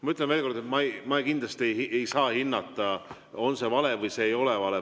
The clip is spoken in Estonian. Ma ütlen veel kord, et ma kindlasti ei saa hinnata, on see vale või see ei ole vale.